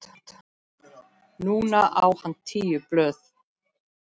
Núna á hann tíu blöð.